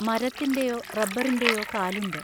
മരത്തിന്റെയോ റബ്ബറിന്റെയോ കാലുണ്ട്.